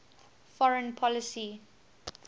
foreign policy